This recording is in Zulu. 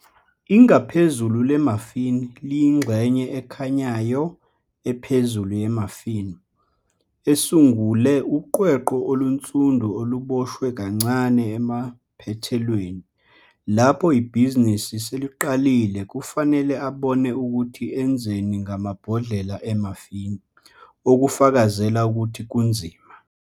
Ingaphezulu le-muffin liyingxenye ekhanyayo ephezulu ye-muffin, esungule "uqweqwe olunsundu oluboshwe kancane emaphethelweni". Lapho ibhizinisi seliqalile, kufanele abone ukuthi enzeni ngamabhodlela e-muffin, okufakazela ukuthi kunzima.